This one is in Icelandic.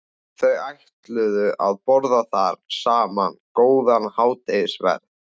Þau ætluðu að borða þar saman góðan hádegisverð.